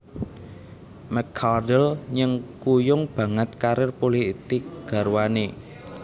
McCardle nyengkuyung banget karir pulitik garwané